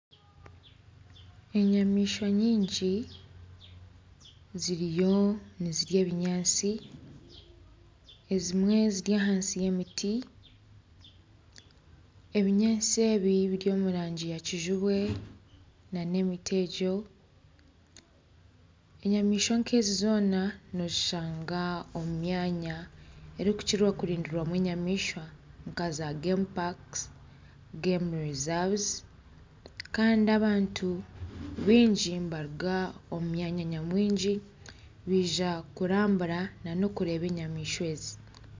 Enyamaishwa nyingi ziriyo nizirya ebinyaatsi ezimwe ziri ahansi y'emiti, ebinyaatsi ebi biri omu rangi yakijubwe n'emiti egyo, enyamaishwa nk'ezi zoona noozishangwa omu myanya erikukira kurindirwamu enyamaishwa nka gemu paaka kandi baingi nibaruga omu myanya nyamwingi baija kurambura n'okureeba enyamaishwa ezi